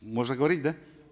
можно говорить да